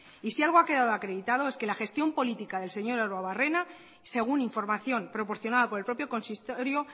y si algo ha quedado acreditado es que la gestión política del señor arruabarrena según información proporcionada por el propio consistorio